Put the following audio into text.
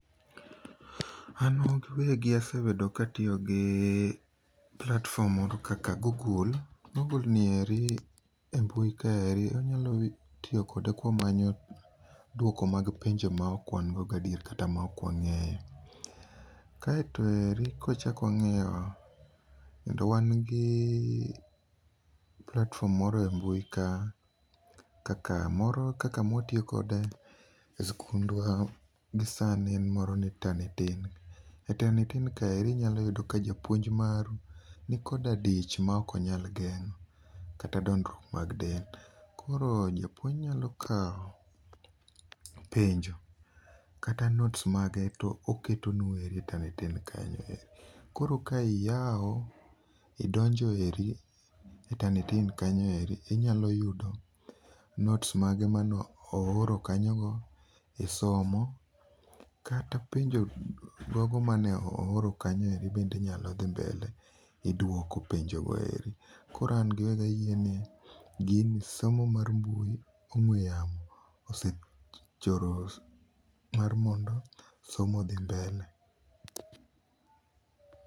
An asebedo ka atiyo gi platform moro kaka google, google nieri e mbui kae wanyalo tiyo kode kwamanyo duoko mag penjo maok wan godo gi adieri kata maok wangeyo. Kaito eri kawachak wangiyo, kendo wan gi platform moro e mbui ka, kaka moro , kaka mawatiyo kode e skundwa gisani en moro ni Tanitin, e tanitin kae inyalo yudo ni japuonj maru nikoa dich maok onyal gengo kata dondruok mar del. Koro japuonj nyalo kao penjo kata notes maru toketonu e tatinit kanyo ero, koro ka iyao ,idonjo eri e tanitin kanyoeri inyalo yudo notes mage mane ooro kanyo ero isomo, kata penjo gogo mane ooro kanyo eri bende inyalo dhi mbele iduoko penjo eri. Koro an ? ayie ni gin somo mag mbui ongwe yamo osechoro somo mondo odhi mbele